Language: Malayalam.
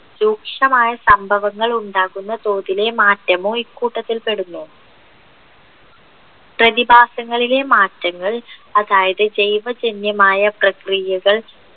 രൂക്ഷമായ സംഭവങ്ങൾ ഉണ്ടാകുന്ന തോതിലെ മാറ്റമോ ഇക്കൂട്ടത്തിൽപ്പെടുന്നു പ്രതിഭാസങ്ങളിലെ മാറ്റങ്ങൾ അതായത് ജൈവജന്യമായ പ്രക്രിയകൾ